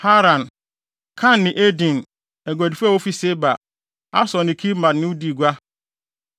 “ ‘Haran, Kan ne Eden, aguadifo a wofi Seba, Asur ne Kilmad ne wo dii gua.